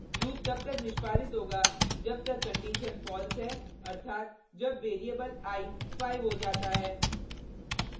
loop तब तक निष्पादित होगा जब तक कंडिशन false है अर्थात जब वेरिएबल i 5 हो जाता है